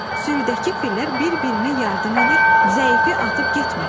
Sürüdəki fillər bir-birinə yardım edir, zəifi atıb getmirlər.